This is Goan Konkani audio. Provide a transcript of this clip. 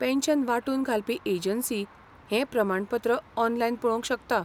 पॅन्शन वांटून घालपी एजंसी हें प्रमाणपत्र ऑनलायन पळोवंक शकता.